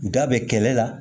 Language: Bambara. Da bɛ kɛlɛ la